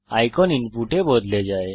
icon input এ বদলে যায়